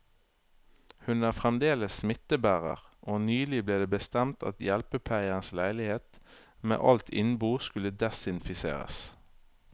Hun er fremdeles smittebærer, og nylig ble det bestemt at hjelpepleierens leilighet med alt innbo skulle desinfiseres.